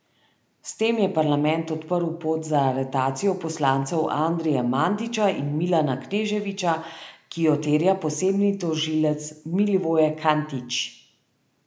S tem je parlament odprl pot za aretacijo poslancev Andrije Mandića in Milana Kneževića, ki jo terja posebni tožilec Milivoje Katnić.